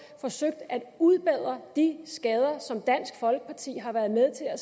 forsøgt at udbedre de skader som dansk folkeparti har været med til at